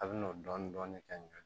A bɛ n'o dɔɔnin dɔɔnin kɛ ɲɔ